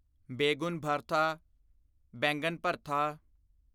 begun bharta baingan ਭਰਤਾ